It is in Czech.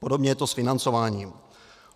Podobně je to s financováním.